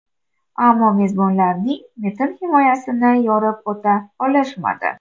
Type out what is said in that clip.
Ammo mezbonlarning metin himoyasini yorib o‘ta olishmadi.